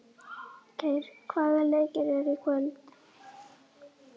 Geir, hvaða leikir eru í kvöld?